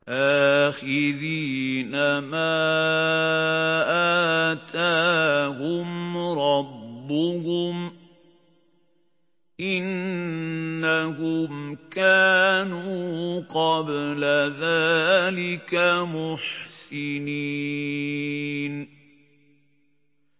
آخِذِينَ مَا آتَاهُمْ رَبُّهُمْ ۚ إِنَّهُمْ كَانُوا قَبْلَ ذَٰلِكَ مُحْسِنِينَ